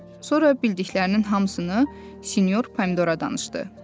Sonra bildiklərinin hamısını sinyor pomidora danışdı.